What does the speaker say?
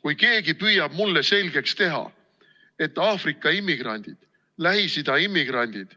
Kui keegi püüab mulle selgeks teha, et Aafrika immigrandid, Lähis-Ida immigrandid,